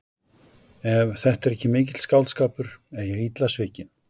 Ef þetta er ekki mikill skáldskapur er ég illa svikin.